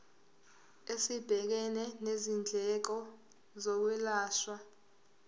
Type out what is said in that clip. esibhekene nezindleko zokwelashwa